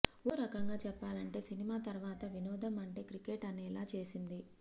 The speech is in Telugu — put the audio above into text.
ఓ రకంగా చెప్పాలంటే సినిమా తర్వాత వినోదం అంటే క్రికెట్ అనేలా చేసింది